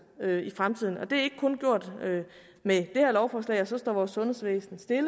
i fremtiden og det er ikke kun gjort med det her lovforslag og så står vores sundhedsvæsen stille